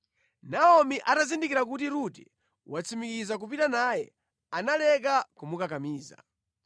Naomi atazindikira kuti Rute watsimikiza kupita naye, analeka kumukakamiza.